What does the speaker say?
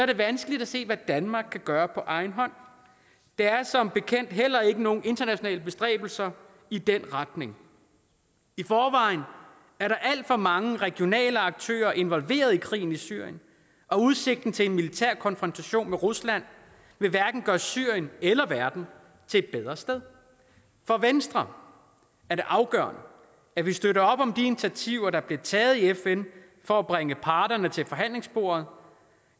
det vanskeligt at se hvad danmark kan gøre på egen hånd der er som bekendt heller ikke set nogen internationale bestræbelser i den retning i forvejen er der alt for mange regionale aktører involveret i krigen i syrien og udsigten til en militær konfrontation med rusland vil hverken gøre syrien eller verden til et bedre sted for venstre er det afgørende at vi støtter op om de initiativer der bliver taget i fn for at bringe parterne til forhandlingsbordet